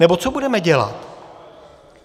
Nebo co budeme dělat?